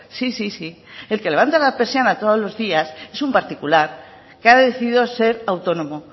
sí sí sí el que levanta las persianas todos los días es un particular que ha decidido ser autónomo